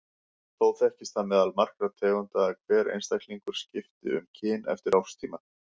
Þó þekkist það meðal margra tegunda að hver einstaklingur skipti um kyn eftir árstíma.